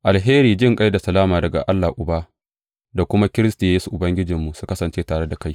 Alheri, jinƙai da salama daga Allah Uba da kuma Kiristi Yesu Ubangijinmu, su kasance tare da kai.